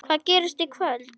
Hvað gerist í kvöld?